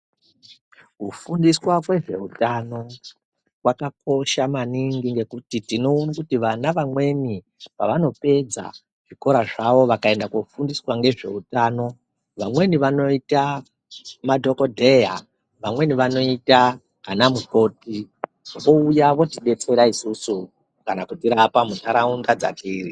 Kufundiswa kwezveutano kwakakosha maningi ngekuti tinoona kuti vana vamweni pavanopedza zvikora zvavo vakaenda kofundiswa ngezvehutano. Vamweni vanoita madhogodheya vamweni vanoita vana mukoti vouya votibetsera isusu kana kutirapa munharaunda dzatiri.